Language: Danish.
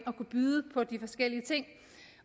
og byde på de forskellige ting